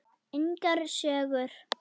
Engar sögur.